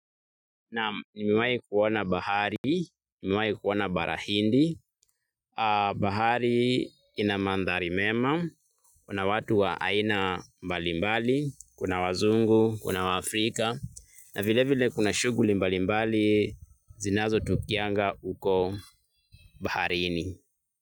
Naam nimewai kuona bahari, nimewai kuona bara hindi, bahari ina mandhari mema, kuna watu wa aina mbalimbali, kuna wazungu, kuna wafrika, na vile vile kuna shuguli mbalimbali zinazo tukianga uko baharini.